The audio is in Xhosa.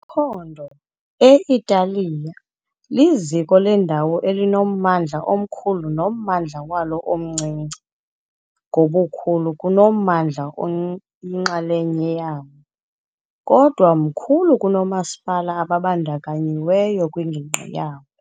Iphondo, e- Italiya, liziko lendawo elinommandla omkhulu nommandla walo omncinci ngobukhulu kunommandla oyinxalenye yawo, kodwa mkhulu kunoomasipala ababandakanyiweyo kwingingqi yawo.